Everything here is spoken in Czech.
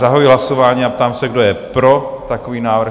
Zahajuji hlasování a ptám se, kdo je pro takový návrh?